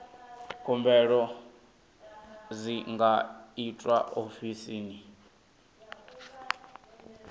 khumbelo dzi nga itwa ofisini